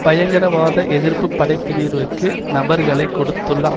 பயங்கரவாத எதிர்ப்பு படைப்பினிவிற்கு நபர்களை கொடுத்துள்ள